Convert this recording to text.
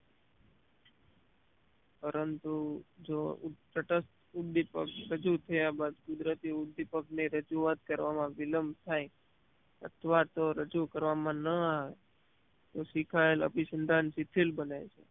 પરંતુ જો તટસ્ત ઉદીપક રજુ થયા બાદ કુદરતી ઉદીપક ને રજુવાત કરવામાં વિલંબ થાય અથવા તો રજુ કરવામાં ન આવે તો શીખાયેલ અભિસંધાન સીથીલ બને છે